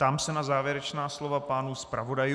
Ptám se na závěrečná slova pánů zpravodajů?